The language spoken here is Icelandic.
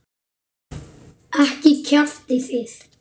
Ekki kjaftið þið.